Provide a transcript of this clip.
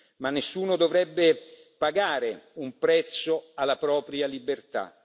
Ma nessuno dovrebbe pagare un prezzo alla propria libertà.